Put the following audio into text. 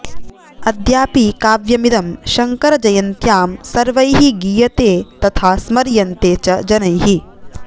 अद्यापि काव्यमिदं शङ्करजयन्त्यां सर्वैः गीयते तथा स्मर्यन्ते च जनैः